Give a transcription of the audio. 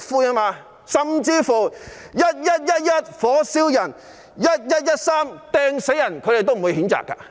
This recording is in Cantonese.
即使"一一一一，火燒人"、"一一一三，掟死人"，他們也不會譴責。